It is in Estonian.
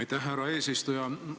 Aitäh, härra eesistuja!